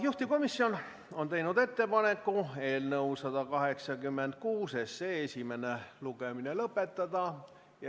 Juhtivkomisjon on teinud ettepaneku eelnõu 186 esimene lugemine lõpetada.